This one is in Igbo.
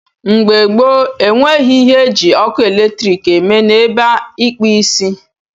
Mgbe gboo, enweghị ihe eji ọkụ eletrik eme n'ebe ịkpụ isi.